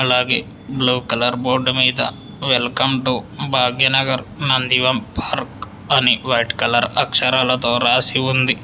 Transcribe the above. అలాగే blue colour board మీద welcome to Bhagyanagar నందివం పార్క్ అని వైట్ కలర్ అక్షరాలతో రాసి ఉంది.